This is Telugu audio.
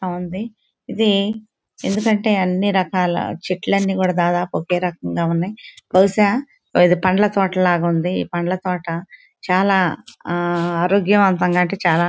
బాగుంది. ఇది ఎందుకంటే అన్ని రకాల చెట్లు అన్నీ కూడా దాదాపు ఒకే రకంగా ఉన్నాయ్. బహుశా ఇది పండ్ల తోట లాగుంది. ఈ పండ్ల తోట చాలా ఆ ఆరోగ్యవంతంగా అంటే చాలా--